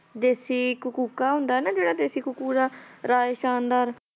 ਦੇਸ਼ੀ ਇੱਕ ਕੂਕਾ ਹੁੰਦਾ ਨਾ ਜਿਹੜਾ ਦੇਸ਼ੀ ਕਕੂਰਾ, ਰਾਏ ਸ਼ਾਨਦਦਾਰ।